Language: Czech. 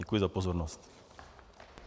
Děkuji za pozornost.